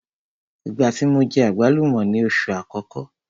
Ìgbá tí mo jẹ àgbálùmọ́ ni oṣù àkọ́kọ́.